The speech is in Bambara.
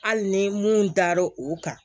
Hali ni mun dar'o o kan